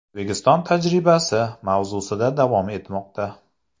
O‘zbekiston tajribasi” mavzusida davom etmoqda.